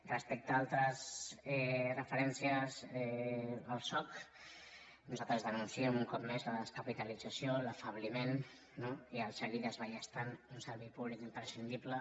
respecte a altres referències al soc nosaltres denunciem un cop més la descapitalització l’afebliment no i seguir desballestant un servei públic imprescindible